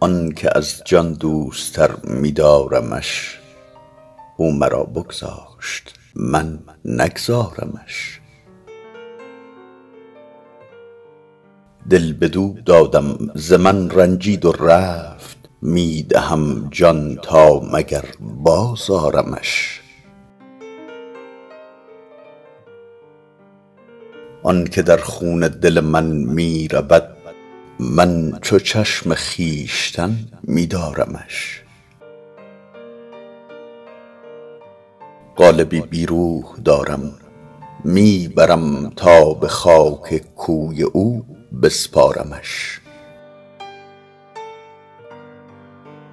آنکه از جان دوست تر می دارمش او مرا بگذاشت من نگذارمش دل بدو دادم ز من رنجید و رفت می دهم جان تا مگر باز آرمش آنکه در خون دل من میرود من چو چشم خویشتن می دارمش قالبی بی روح دارم می برم تا به خاک کوی او بسپارمش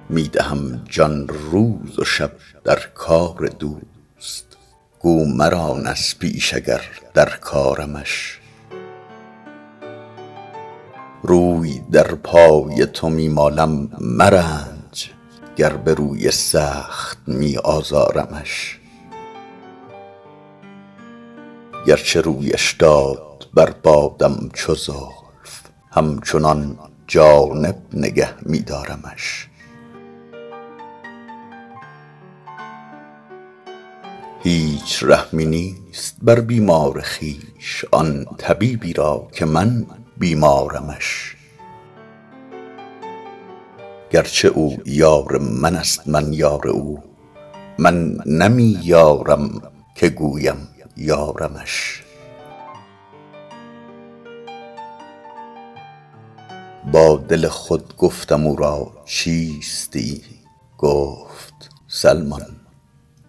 می دهم جان روز و شب در کار دوست گو مران از پیش اگر در کارمش روی در پای تو می مالم مرنج گر به روی سخت می آزارمش گرچه رویش داد بر بادم چو زلف همچنان جانب نگه می دارمش هیچ رحمی نیست بر بیمار خویش آن طبیبی را که من بیمارمش گرچه او یار منست من یار او من نمی یارم که گویم یارمش با دل خود گفتم او را چیستی گفت سلمان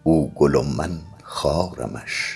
او گل و من خارمش